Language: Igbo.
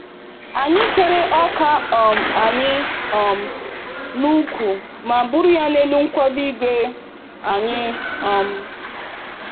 Anyị kere ọka um anyị um n'ụkwụ ma buru ya n'elu nkwado igwe anyị. um